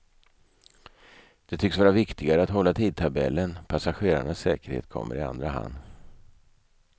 Det tycks vara viktigare att hålla tidtabellen, passagerarnas säkerhet kommer i andra hand.